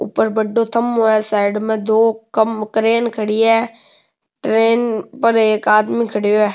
ऊपर बड़ो थम्भों है साइड में दो क्रेन खड़ी है ट्रेन पर एक आदमी खड़ेयो है।